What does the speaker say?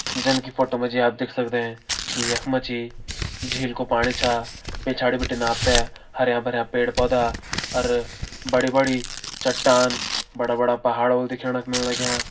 जन की फोटो मा जी आप देख सकदें की यख मा जी झील कू पाणी छा पिछाड़ी बिटिन आप तें हरयां-भरयां पेड़ पौधा अर बड़ी बड़ी चट्टान बड़ा बड़ा पहाड़ होल दिखेण क मिल लग्यां।